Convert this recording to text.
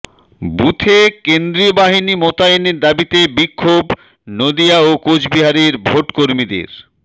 বুথে কেন্দ্রীয় বাহিনী মোতায়েনের দাবিতে বিক্ষোভ নদিয়া ও কোচবিহারের ভোটকর্মীদের